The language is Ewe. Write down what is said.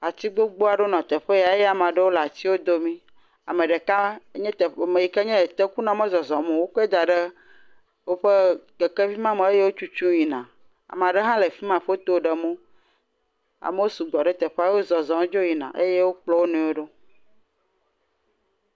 Ati gbogbo aɖewo le teƒe ya eye ame aɖewo domii, ame ɖeka nye te.., ŋ.., ku..,meyi ke nye tekunɔ mezɔzɔm o, wokɔe da ɖe woƒe keke me hetutu yina, ame aɖe hã le fi ma le foto ɖem wo. Amewo sugbɔ ɖe teƒea, wo zɔzɔm dzo yina eye wiokplɔ wo nɔewo yina.